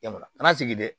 Yan nɔ a kana sigi dɛ